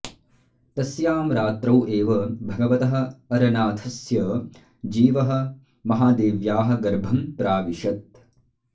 तस्यां रात्रौ एव भगवतः अरनाथस्य जीवः महादेव्याः गर्भं प्राविशत्